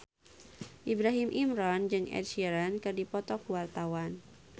Ibrahim Imran jeung Ed Sheeran keur dipoto ku wartawan